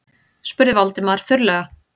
spurði Valdimar þurrlega.